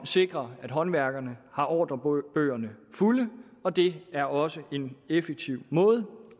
sikrer at håndværkerne har ordrebøgerne fulde og det er også en effektiv måde